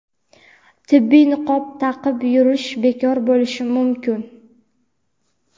tibbiy niqob taqib yurish bekor bo‘lishi mumkin.